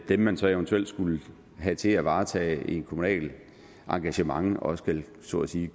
dem man så eventuelt skulle have til at varetage et kommunalt engagement også så at sige